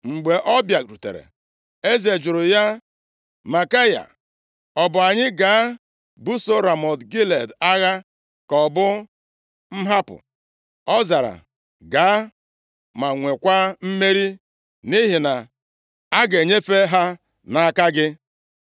Mgbe ọ bịarutere, eze jụrụ ya, “Maikaya, ọ bụ anyị gaa buso Ramọt Gilead agha, ka ọ bụ m hapụ?” Ọ zara, “Gaa, ma nwekwa mmeri, nʼihi na a ga-enyefe ha nʼaka gị.”